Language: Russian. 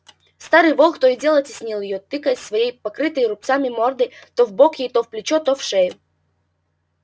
старый волк то и дело теснил её тыкаясь своей покрытой рубцами мордой то в бок ей то в плечо то в шею